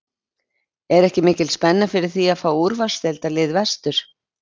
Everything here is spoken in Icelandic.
Er ekki mikil spenna fyrir því að fá úrvalsdeildarlið vestur?